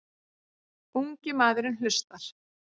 Ungi maðurinn hlustar.